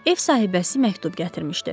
Ev sahibəsi məktub gətirmişdi.